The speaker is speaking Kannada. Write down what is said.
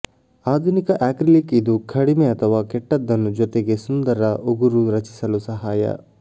ಆಧುನಿಕ ಅಕ್ರಿಲಿಕ್ ಇದು ಕಡಿಮೆ ಅಥವಾ ಕೆಟ್ಟದ್ದನ್ನು ಜೊತೆ ಸುಂದರ ಉಗುರು ರಚಿಸಲು ಸಹಾಯ